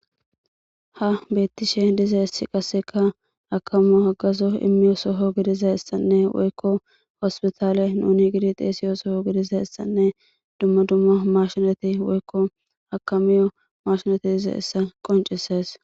ha beettishe diza issi qasseka akamu hagazo immiyo soho gidiza issanne woykko hospitaale nuni gidi xeesiyo soho gidiza issanne dumma dumma mashinati woykko akamiyo mashinati diza issa qoncisees